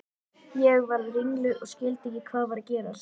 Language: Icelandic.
Ég varð ringluð og skildi ekki hvað var að gerast.